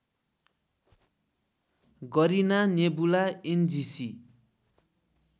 Garena nebula NGC